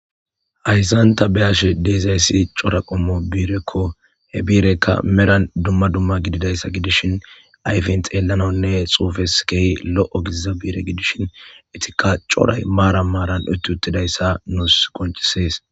Hayssan ta be'ashe dizayssi cora qommo biirekko he biirekka meran dumma dumma gididayssa gidishin ayfen xeellananne xuufes kehi lo7o gidiza biire gidishin etikka coray maara maaran utti uttidayssa nuus qoncisees